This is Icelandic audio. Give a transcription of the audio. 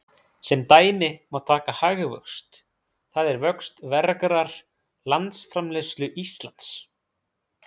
Sem dæmi má taka hagvöxt, það er vöxt vergrar landsframleiðslu Íslands.